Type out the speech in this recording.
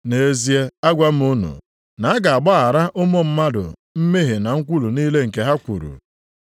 Nʼezie agwa m unu, na a ga-agbaghara ụmụ mmadụ mmehie na nkwulu niile nke ha kwuru.